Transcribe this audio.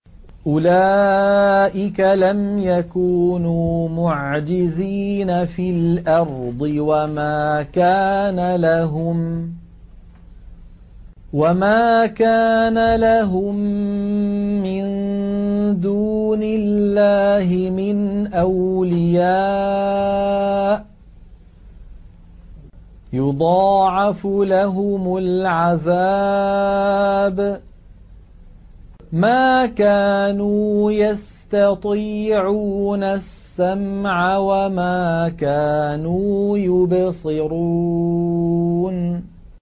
أُولَٰئِكَ لَمْ يَكُونُوا مُعْجِزِينَ فِي الْأَرْضِ وَمَا كَانَ لَهُم مِّن دُونِ اللَّهِ مِنْ أَوْلِيَاءَ ۘ يُضَاعَفُ لَهُمُ الْعَذَابُ ۚ مَا كَانُوا يَسْتَطِيعُونَ السَّمْعَ وَمَا كَانُوا يُبْصِرُونَ